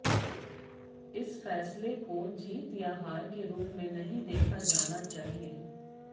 इस फैसले को जीत या हार के रूप में नहीं देखा जाना चाहिए